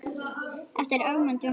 eftir Ögmund Jónsson